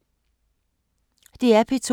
DR P2